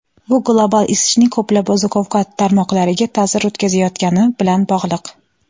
bu global isishning ko‘plab oziq-ovqat tarmoqlariga ta’sir o‘tkazayotgani bilan bog‘liq.